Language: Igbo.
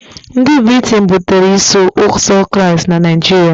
Ndị Briten butere Iso Ụzọ Kraịst na Naijiria